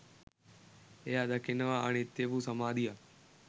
එයා දකිනවා අනිත්‍ය වූ සමාධියක්